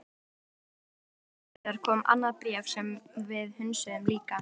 Ári síðar kom annað bréf sem við hunsuðum líka.